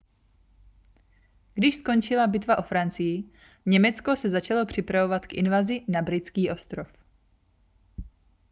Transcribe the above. když skončila bitva o francii německo se začalo připravovat k invazi na britský ostrov